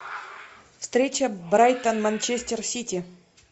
встреча брайтон манчестер сити